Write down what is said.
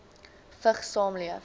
vigs saamleef